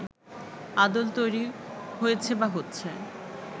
আদল তৈরি হয়েছে বা হচ্ছে